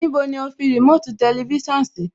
Níbo ni o fi remote tẹlifísàn sí?